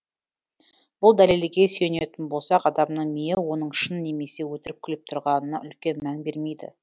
бұл дәлелге сүйенетін болсақ адамның миы оның шын немесе өтірік күліп тұрғанына үлкен мән бермейді